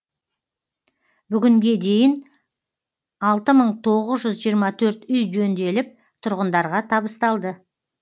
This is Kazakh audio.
бүгінге дейін алты мың тоғыз жүз жиырма төрт үй жөнделіп тұрғындарға табысталды